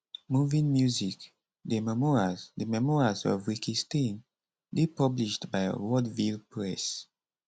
moving music the memoirs the memoirs of rikki stein dey published by wordville press